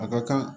A ka kan